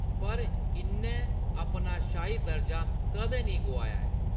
पर, इʼन्नै अपना शाही दर्जा कदें नेईं गोआया ऐ।